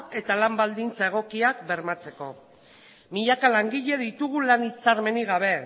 eta lan baldintza egokiak bermatzeko milaka langile ditugu lan hitzarmenik gabe